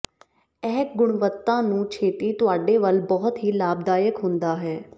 ਇਹ ਗੁਣਵੱਤਾ ਨੂੰ ਛੇਤੀ ਤੁਹਾਡੇ ਵੱਲ ਬਹੁਤ ਹੀ ਲਾਭਦਾਇਕ ਹੁੰਦਾ ਹੈ